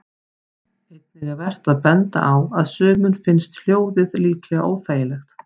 Einnig er vert að benda á að sumum finnst hljóðið líklega óþægilegt.